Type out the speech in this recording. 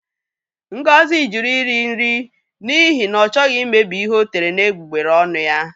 Ngozi jụrụ iri nri n'ihi na ọ chọghị imebi ihe o tere n'egbugbere ọnụ ya